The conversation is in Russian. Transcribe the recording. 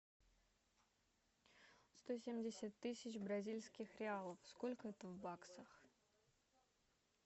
сто семьдесят тысяч бразильских реалов сколько это в баксах